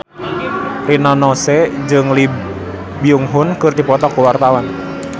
Rina Nose jeung Lee Byung Hun keur dipoto ku wartawan